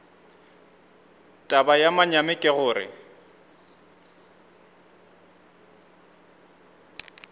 taba ya manyami ke gore